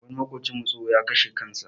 Wani maƙocinmu tsoho, ya kashe kansa.